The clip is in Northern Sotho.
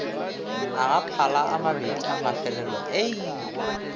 a gaphala amabedi amafelelo ie